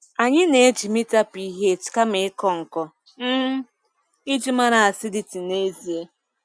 Anyị na-eji mita pH kama ịkọ nkọ um iji mara acidity n'ezie.